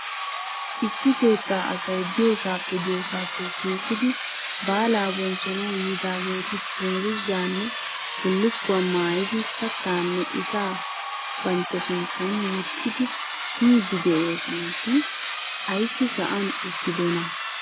Issi keettaa asay diyoosaappe diyoosaappe shiiqidi baalaa bonchchanawu yiidaageeti dungguzaanne bullukkuwa maayidi kattaanne ishshaa bantta sinttan wottidi miiddi de'oosona shin ayssi sa'an uttidonaa?